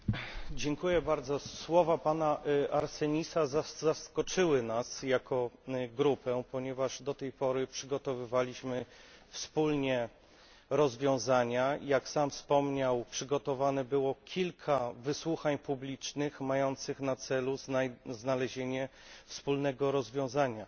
Panie Przewodniczący! Słowa pana Arsenisa zaskoczyły nas jako grupę, ponieważ do tej pory przygotowywaliśmy wspólnie rozwiązania i jak sam wspomniał przygotowanych zostało kilka wysłuchań publicznych mających na celu znalezienie wspólnego rozwiązania.